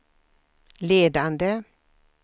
ledande